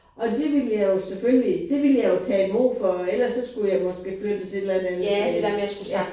Og det ville jeg jo selvfølgelig det ville jeg jo tage imod for ellers skulle jeg måske flyttes et eller andet sted hen ja